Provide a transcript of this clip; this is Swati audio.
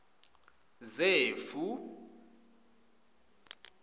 zefu